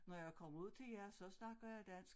Når jeg kommer ud til jer så snakker jeg dansk